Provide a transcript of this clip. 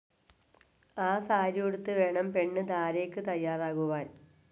ആ സാരിയുടുത്ത് വേണം പെണ്ണ് ധാരയ്ക്ക് തയ്യാറാകുവാൻ.